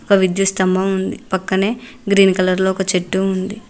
ఒక విద్యుత్ స్తంభం పక్కనే గ్రీన్ కలర్ లో ఒక చెట్టు ఉంది.